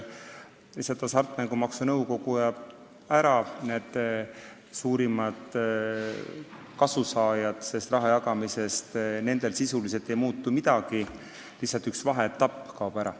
Hasartmängumaksu Nõukogu kaob ära, kuid suurimate kasusaajate jaoks ei muutu rahajagamisel sisuliselt midagi – lihtsalt üks vaheetapp kaob ära.